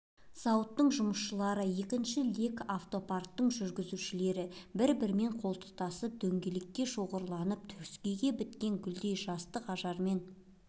зауытының жұмысшылары екінші лек автопарктің жүргізушілері бір-бірімен қолтықтасып дөңгелене шоғырланып төскейге біткен гүлдей жастық ажарымен